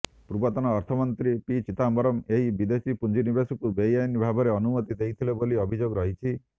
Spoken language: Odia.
ପୂର୍ବତନ ଅର୍ଥମନ୍ତ୍ରୀ ପି ଚିଦାମ୍ୱରମ ଏହି ବେଦେଶୀ ପୁଞ୍ଜିନିବେଶକୁ ବେଆଇନ ଭାବରେ ଅନୁମତି ଦେଇଥିଲେ ବୋଲି ଅଭିଯୋଗ ରହିଛି